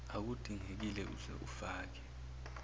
akudingekile uze ufake